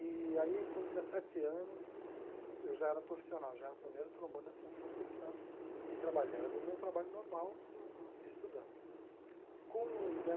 E aí, com dezessete anos, eu já era profissional, já era o primeiro trombone da Sinfônica de Santos, e trabalhando no meu trabalho normal, e estudando com